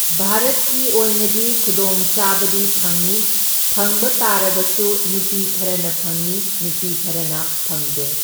ꯚꯥꯔꯠꯀꯤ ꯑꯣꯏꯅꯗꯤ ꯈꯨꯗꯣꯡꯆꯥꯕꯗꯤ ꯐꯪꯢ, ꯐꯪꯕ ꯇꯥꯔꯕꯁꯨ ꯅꯨꯄꯤ ꯈꯔꯅ ꯐꯪꯏ ꯅꯨꯄꯤ ꯈꯔꯅ ꯐꯪꯗꯦ꯫